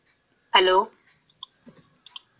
Hello.